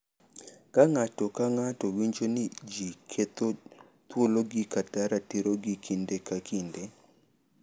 Ka ng’ato ka ng’ato winjo ni ji ketho thuologi kata ratirogi kinde ka kinde,